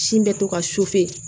Sin bɛ to ka